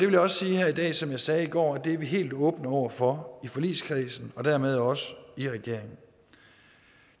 vil også sige her i dag som jeg sagde i går at det er vi helt åbne over for i forligskredsen og dermed også i regeringen